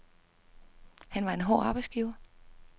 Han var en hård arbejdsgiver.